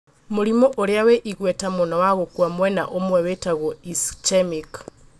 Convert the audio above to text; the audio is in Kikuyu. Mũrimũ ũrĩa wĩ igweta mũno wa gũkua mwena ũmwe wĩtagwo ischemic